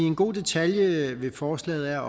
en god detalje ved forslaget er